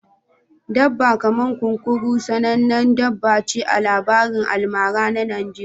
Dabba kaman kunkuru sanannen dabba ce a labarin almara na Najeriya